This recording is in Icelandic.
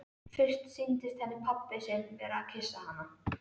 Fyrst sýndist henni pabbi sinn vera að kyssa hana.